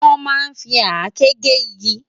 Wòn má n fi àké gé igi